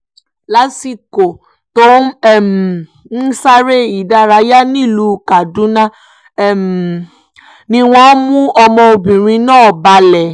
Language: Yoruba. lásìkò tó um ń sáré ìdárayá nílùú kaduna um ni wọ́n mú ọmọbìnrin náà balẹ̀